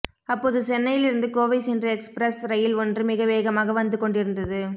அப்போது சென்னையிலிருந்து கோவை சென்ற எக்ஸ்பிரஸ் ரயில் ஒன்று மிக வேகமாக வந்து கொண்டிருந்தது